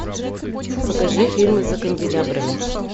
покажи фильм за канделябрами